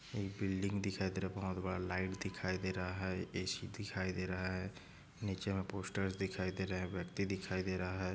एक बिल्डिंग दिखाई दे रहा बहुत बड़ा लाईट दिखाई दे रहा है ए_सी दिखाई दे रहा है नीचे मे पोस्टर्स दिखाई दे रहे व्यक्ति दिखाई दे रहा है।